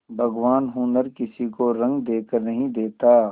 भगवान हुनर किसी को रंग देखकर नहीं देता